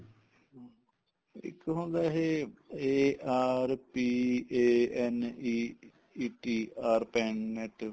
ਇੱਕ ਹੁੰਦਾ ਇਹ ARPANEET Arpanet